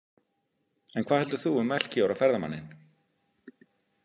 En hvað heldur þú um Melkíor og ferðamanninn?